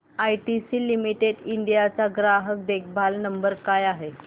ITC limited India चा ग्राहक देखभाल नंबर काय आहे